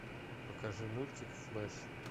покажи мультик флеш